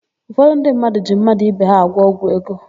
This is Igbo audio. Ụfọdụ ndị mmadụ ji mmadụ ibe ha agwọ ọgwụ ego.